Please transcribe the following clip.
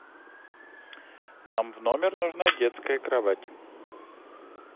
нам в номер нужна детская кровать